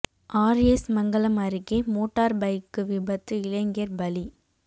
R S Mangalam அருகே motor bike விபத்து இளைஞா் பலி